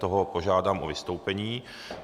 Toho požádám o vystoupení.